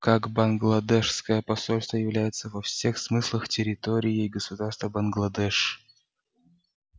как бангладешское посольство является во всех смыслах территорией государства бангладеш